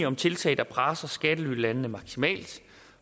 om tiltag der presser skattelylandene maksimalt